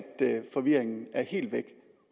forvirringen er helt væk